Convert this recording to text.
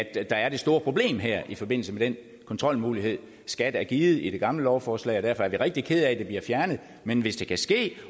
at der er det store problem her i forbindelse med den kontrolmulighed skat er givet i det gamle lovforslag og derfor er vi rigtig kede af at det bliver fjernet men hvis det kan ske